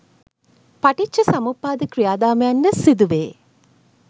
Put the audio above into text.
පටිච්චසමුප්පාද ක්‍රියාදාමයන් ද සිදුවේ.